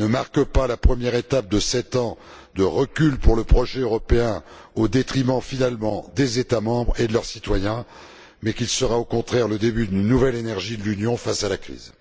ne marque pas la première étape de sept ans de recul pour le projet européen, au détriment, finalement, des États membres et de leurs citoyens, mais qu'il sera au contraire le début d'une nouvelle énergie de l'Union face à la crise.